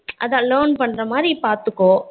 அதான் learn பண்ணுற மாறி பாத்துக்கோ